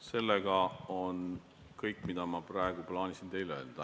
See on kõik, mida ma praegu plaanisin teile öelda.